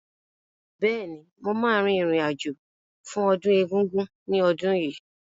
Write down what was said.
Bẹ́ẹ̀ni, mo ma rìn rìn àjò fún ọdún Egúngún ní ọdún yìí